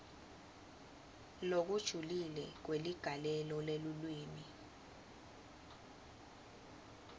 lokujulile kweligalelo lelulwimi